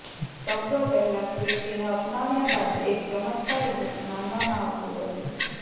શબ્દો પહેલાં ખ્રિસ્તીને અપનાવ્યા બાદ એક ચમત્કાર વૃક્ષ માનવામાં આવતું હતું